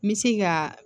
N bɛ se ka